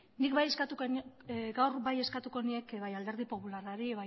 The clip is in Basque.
nik gaur bai eskatuko nieke bai alderdi popularrari